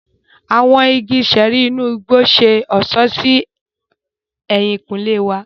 Awọn igi ṣẹẹri inú igbó ṣe ọṣọ sí ehinkunle wà.